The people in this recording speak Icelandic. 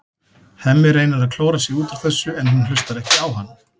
Hemmi reynir að klóra sig út úr þessu en hún hlustar ekki á hann.